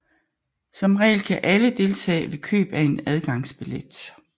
Som regel kan alle deltage ved køb af en adgangsbillet